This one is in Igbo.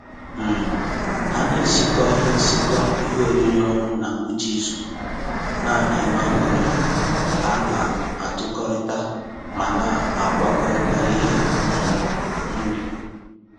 um Ha ne-esikọ ihe ne-esikọ ihe oriri ọnụ na ngwụcha izu, na-enwe aṅụrị ka na-atụkọrịta ma na-agwakọrịta ihe um nri